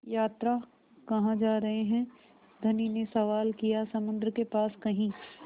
यात्रा कहाँ जा रहे हैं धनी ने सवाल किया समुद्र के पास कहीं